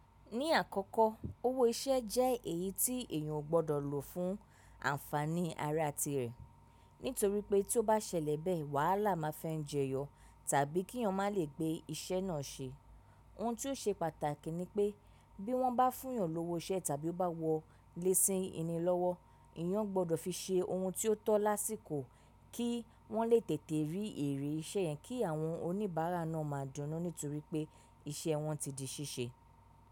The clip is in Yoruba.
Ní àkọ́kọ́, owó iṣẹ́ jẹ́ èyí tí èèyàn o gbọ́dọ̀ lò fún ànfàní ara ti rẹ̀. Nítorí pé tí ó bá ṣẹlẹ̀ bẹ́ẹ̀, wàhálà máa fẹ́ ń jẹyọ tàbí kí èèyàn má le gbé iṣẹ́ náà ṣe. Ohun tí ó ṣe pàtàkì ni pé bí wọ́n bá fún èèyàn lówó iṣẹ́ tàbí ó bá wọ lé ṣin eni lọ́wọ́, èèyàn gbọ́dọ̀ fi ṣe ohun tí ó tọ́ lásìkò kí wọ́n lè tètè rí èrè iṣẹ́ yẹn kí àwọn oníbàárà náà máa dúnú nítorí pé iṣẹ́ wọn ti di ṣíṣe.